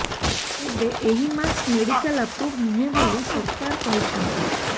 ତେବେ ଏହି mask medical approved ନୁହେଁ ବୋଲି ସରକାର କହିଛନ୍ତି